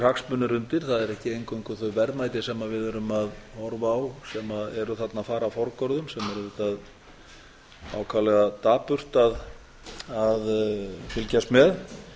sem erum að horfa á sem eru þarna að fara forgörðum sem er auðvitað ákaflega dapurt að fylgjast með